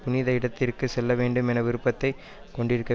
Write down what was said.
புனித இடத்திற்கு செல்லவேண்டும் என்ற விருப்பத்தைக் கொண்டிருக்க